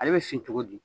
Ale bɛ fin cogo di